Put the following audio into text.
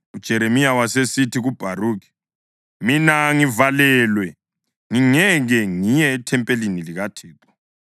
UJeremiya wasesithi kuBharukhi, “Mina ngivalelwe; ngingeke ngiye ethempelini likaThixo.